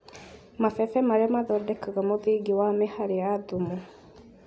Mabebe maria mathondekaga mũthingi wa mĩhari ya thumu